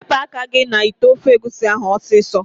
Wepu aka gi n'ite ofe egusi ahu osiso!